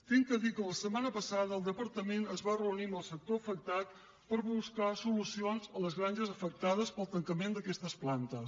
haig de dir que la setmana passada el departament es va reunir amb el sector afectat per buscar solucions a les granges afectades pel tancament d’aquestes plantes